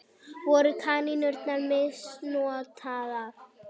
Voru kanínurnar misnotaðar?